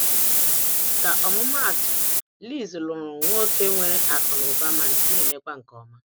ka ọmụmatụ, liz nụrụ nwoke nwere akụ ma na emekwa nke ọma.